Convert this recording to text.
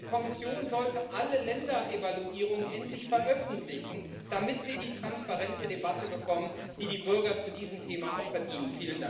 Und die Kommission sollte alle Länderevaluierungen endlich veröffentlichen, damit wir die transparente Debatte bekommen, die die Bürger zu diesem Thema auch verdienen.